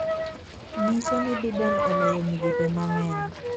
nyiso ni Biden oloyo migepe mang’eny